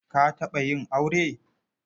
Ka taɓa yin aure?